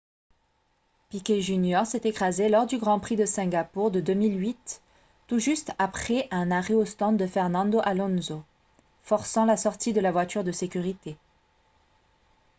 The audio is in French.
piquet jr s'est écrasé lors du grand prix de singapour de 2008 tout juste après un arrêt aux stands de fernando alonso forçant la sortie de la voiture de sécurité